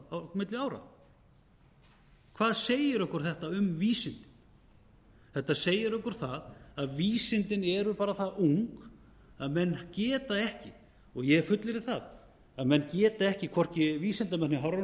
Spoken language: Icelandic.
á milli ára hvað segir þetta okkur um vísindin þetta segir okkur það að vísindin eru bara það ung að menn geta ekki og ég fullyrði það að menn geta ekki hvorki vísindamennirnir á hafrannsóknastofnun